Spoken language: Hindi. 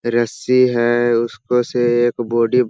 रस्सी है उसपे से एक बॉडी --